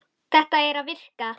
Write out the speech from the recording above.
Þetta er að virka.